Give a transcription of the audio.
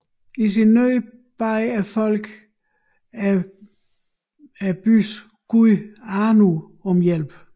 I sin nød bad folket byens gud Anu om hjælp